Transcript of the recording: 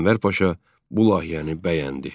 Ənvər Paşa bu layihəni bəyəndi.